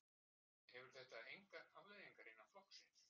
Hefur þetta engar afleiðingar innan flokksins?